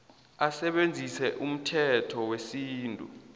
asebenzise umthetho wesintu